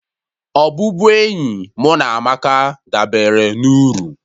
Ọbụbụenyi mụ na Amaka dabere na uru